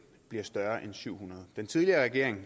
hvis der så er syv hundrede